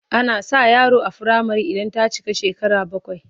Ana sa yaro a firamare idan ta cika shekara bakwai.